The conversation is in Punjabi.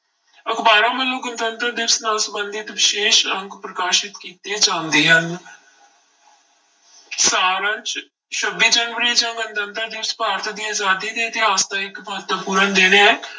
ਅਖ਼ਬਾਰਾਂ ਵੱਲੋਂ ਗਣਤੰਤਰ ਦਿਵਸ ਨਾਲ ਸੰਬੰਧਿਤ ਵਿਸ਼ੇਸ਼ ਅੰਕ ਪ੍ਰਕਾਸ਼ਿਤ ਕੀਤੇ ਜਾਂਦੇ ਹਨ ਸਾਰ ਅੰਸ, ਛੱਬੀ ਜਨਵਰੀ ਜਾਂ ਗਣਤੰਤਰ ਦਿਵਸ ਭਾਰਤ ਦੀ ਆਜ਼ਾਦੀ ਦੇ ਇਤਿਹਾਸ ਦਾ ਇੱਕ ਮਹੱਤਵਪੂਰਨ ਦਿਨ ਹੈ।